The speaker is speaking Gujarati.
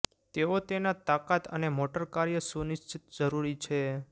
તેઓ તેના તાકાત અને મોટર કાર્ય સુનિશ્ચિત જરૂરી છે